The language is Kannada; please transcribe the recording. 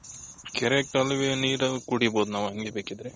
ಕೆರೆ ಕಾಲುವೆ ನೀರನ್ನೇ ಕುಡಿಬಹುದು ನಾವ್ ಹಂಗೆ ಬೇಕಿದ್ರೆ.